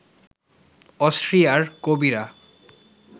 অস্ট্রিয়ার কবিরা